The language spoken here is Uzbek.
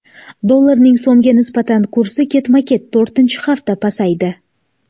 Dollarning so‘mga nisbatan kursi ketma-ket to‘rtinchi hafta pasaydi.